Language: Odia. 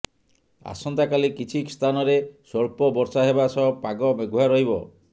ଆସନ୍ତାକାଲି କିଛି ସ୍ଥାନରେ ସ୍ବଳ୍ପ ବର୍ଷା ହେବା ସହ ପାଗ ମେଘୁଆ ରହିବ